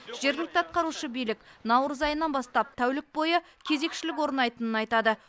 жергілікті атқарушы билік наурыз айынан бастап тәулік бойы кезекшілік орнайтынын айтады